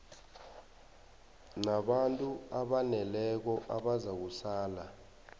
nabantu abaneleko abazakusala